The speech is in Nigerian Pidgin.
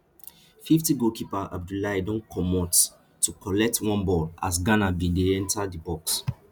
fiftygoalkeeper abiboulaye don comot to collect one ball as ghana bin dey enta di box